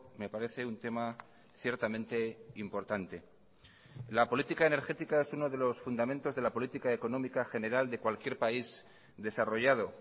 me parece un tema ciertamente importante la política energética es uno de los fundamentos de la política económica general de cualquier país desarrollado